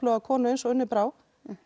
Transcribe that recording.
konu eins og Unni Brá